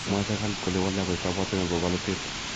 Mwoe serkali kole wole akoik kabwatet nebo bolotet.